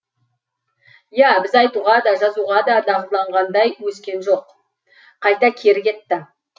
иә біз айтуға да жазуға да дағдыланғандай өскен жоқ қайта кері кетті